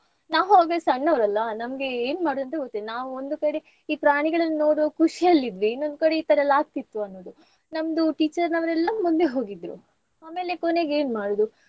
ನಾವ್ ಹೋದ್ರೆ ಸಣ್ಣವ್ರಲ್ಲಾ ನಮ್ಗೆ ಏನ್ ಮಾಡೋದ್ ಅಂತ ಗೊತ್ತಿಲ್ಲ ನಾವು ಒಂದು ಕಡೆ ಈ ಪ್ರಾಣಿಗಳನ್ ನೋಡುವ ಖುಷಿಯಲ್ಲಿ ಇದ್ವಿ ಇನ್ನೊಂದ್ ಕಡೆ ಈ ತರ ಎಲ್ಲ ಆಗ್ತಿತ್ತು ಅನ್ನುದು. ನಮ್ದು teacher ನವರೆಲ್ಲಾ ಮುಂದೆ ಹೋಗಿದ್ರೂ ಆಮೇಲೆ ಕೊನೆಗೆ ಏನ್ ಮಾಡುದು.